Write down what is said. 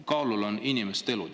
Kaalul on ju inimeste elud.